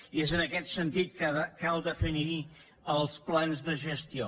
i és en aquest sentit que cal definir els plans de gestió